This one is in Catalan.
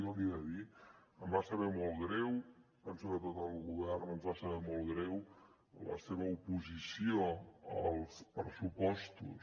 jo li he de dir em va saber molt greu penso que a tot el govern ens va saber molt greu la seva oposició als pressupostos